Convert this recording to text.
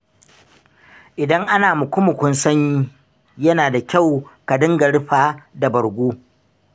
Idan ana muku-mukun sanyi, yana da kyau ka dinga rufa da bargo.